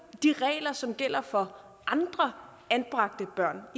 de regler som gælder for andre anbragte børn